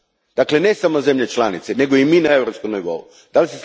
Dakle, ne samo zemlje članice, nego i mi na europskoj razini?